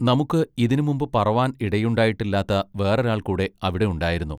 നമുക്ക് ഇതിന് മുമ്പ് പറവാൻ ഇടയുണ്ടായിട്ടില്ലാത്ത വെറൊരാൾ കൂടെ അവിടെ ഉണ്ടായിരുന്നു.